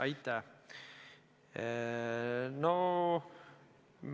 Aitäh!